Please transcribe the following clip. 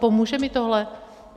Pomůže mi tohle?